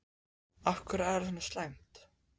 Af hverju er það svona slæmt?